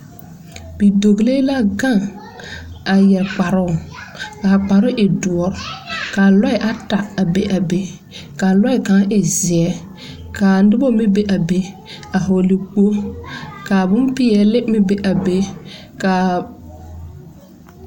Bidɔglee la gang a yere kparoo ka a kparoo e duo ka lɔɛ ata a be a be ka lɔɛ kang e zeɛ kaa nuba meng bɛ a bɛ a vɔgli kpɔgle ka bompeɛle meng bɛ a bɛ kaa.